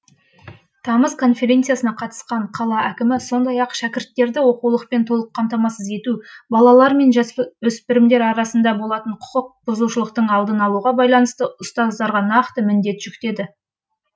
тамыз конференциясына қатысқан қала әкімі сондай ақ шәкірттерді оқулықпен толық қамтамасыз ету балалар мен жасөспірімдер арасында болатын құқық бұзушылықтың алдын алуға байланысты ұстаздарға нақты міндет жүктеді